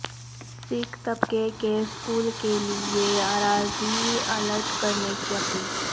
سکھ طبقے کے اسکول کیلئے اراضی الاٹ کرنے کی اپیل